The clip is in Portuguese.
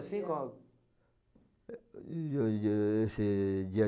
assim, qual? esse dia